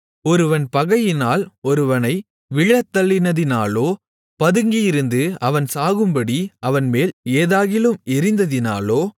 ஒருவன் பகையினால் ஒருவனை விழத்தள்ளினதினாலோ பதுங்கியிருந்து அவன் சாகும்படி அவன்மேல் ஏதாகிலும் எறிந்ததினாலோ